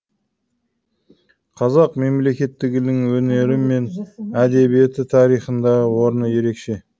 қазақ мемлекеттілігінің өнері мен әдебиеті тарихындағы орны ерекше